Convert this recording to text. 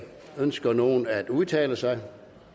ønsker nogen at udtale sig